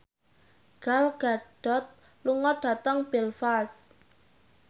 Gal Gadot lunga dhateng Belfast